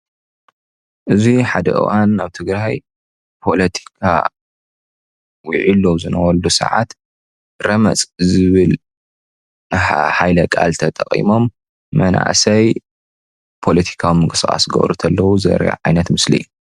እዚ ሓደ እዋን አብ ትግራይ ፖለቲካ ውዒሉ ኣብ ዝነበረሉ ሰዓት ረመፅ ዝብል ሃይለቃል ተጢቂሞም መናእሰይ ፖሎቲካዊ ምንቅስቃስ ክገብሩ ከለዉ ዘርኢ ዓይነት ምስሊ እዩ፡፡